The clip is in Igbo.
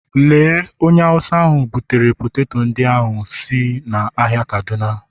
Lee onye Awụsa butere m poteto ndị ahụ si ahịa kaduna